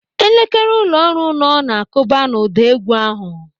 Elekere ụlọ ọrụ nọ na-akụba n'ụda égwú ahụ.